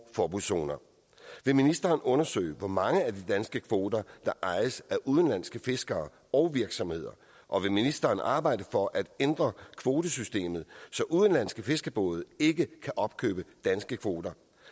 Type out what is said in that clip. forbudszoner vil ministeren undersøge hvor mange af de danske kvoter der ejes af udenlandske fiskere og virksomheder og vil ministeren arbejde for at ændre kvotesystemet så udenlandske fiskebåde ikke kan opkøbe danske kvoter